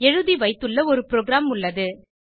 எழுதிவைத்துள்ள ஒரு புரோகிராம் உள்ளது